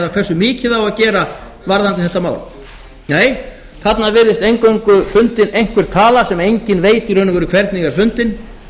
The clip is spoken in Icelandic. hversu mikið á að gera varðandi þetta mál nei þarna virðist eingöngu fundin einhver tala sem enginn veit í raun hvernig er fundin